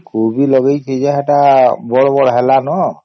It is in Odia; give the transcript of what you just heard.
କୋବି ଲଗେଇଛି ଯେ ସେଟା ବଡ ବଡ ହେଲନ